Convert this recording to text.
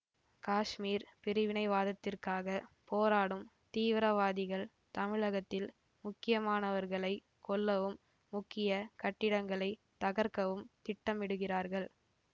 காஷ்மீர் பிரிவினைவாதத்திற்காகப் போராடும் தீவிரவாதிகள் தமிழகத்தில் முக்கியமானவர்களைக் கொல்லவும் முக்கிய கட்டிடங்களைத் தகர்க்கவும் திட்டமிடுகிறார்கள்